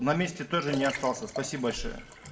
на месте тоже не остался спасибо большое